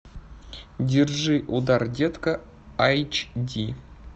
держи удар детка айч ди